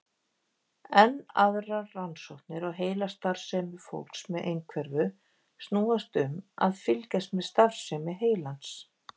Enn aðrar rannsóknir á heilastarfsemi fólks með einhverfu snúast um að fylgjast með starfsemi heilans.